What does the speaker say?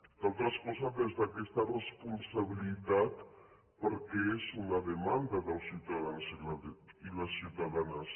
entre altres coses des d’aquesta responsabilitat perquè és una demanda dels ciutadans i les ciutadanes